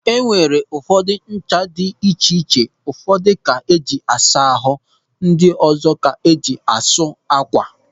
E nwere ụdị ńchà dị iche iche, ụfọdụ ka eji asa ahụ ndị ọzọ ka eji asụ ákwà.